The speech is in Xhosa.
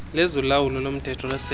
lezolawulo lomthetho lesebe